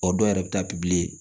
O dɔw yɛrɛ bɛ taa pipiye